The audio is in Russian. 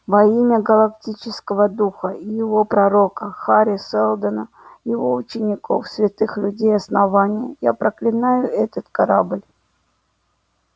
во имя галактического духа и его пророка хари сэлдона его учеников святых людей основания я проклинаю этот корабль